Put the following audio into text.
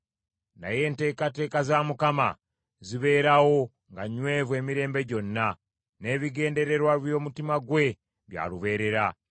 Naye enteekateeka za Mukama zibeerawo nga nywevu emirembe gyonna; n’ebigendererwa by’omutima gwe bya lubeerera.